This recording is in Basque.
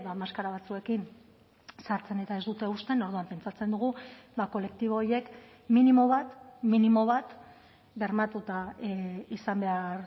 maskara batzuekin sartzen eta ez dute uzten orduan pentsatzen dugu kolektibo horiek minimo bat minimo bat bermatuta izan behar